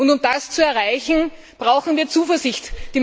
Um das zu erreichen, brauchen wir Zuversicht.